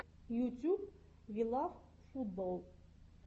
ютюб вилавфутболл